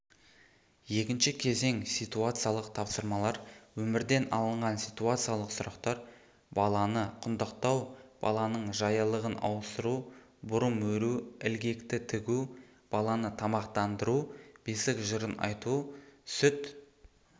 екінші кезең ситуациялық тапсырмалар өмірден алынған ситуациялық сұрақтар баланы құндақтау баланың жаялығын ауыстыру бұрымөру ілгекті тігу баланы тамақтандыру бесік жырын айту сүт